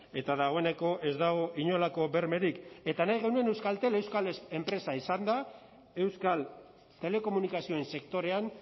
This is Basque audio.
eta dagoeneko ez dago inolako bermerik eta nahi genuen euskaltel euskal enpresa izanda euskal telekomunikazioen sektorean